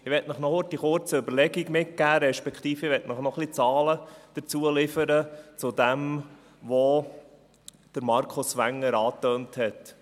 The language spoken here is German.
Ich möchte Ihnen noch kurz eine Überlegung mitgeben, respektive möchte ich noch ein paar Zahlen liefern, zu dem, was Markus Wenger angetönt hat.